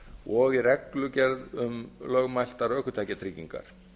og í reglugerð um lögmætar ökutækjatryggingar